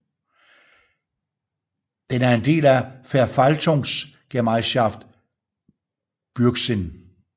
Den er en del af Verwaltungsgemeinschaft Burgsinn